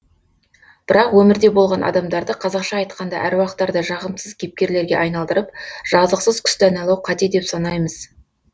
бірақ өмірде болған адамдарды қазақша айтқанда аруақтарды жағымсыз кейіпкерлерге айналдырып жазықсыз күстәналау қате деп санаймыз